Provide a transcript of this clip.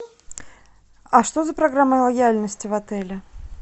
а что за программа лояльности в отеле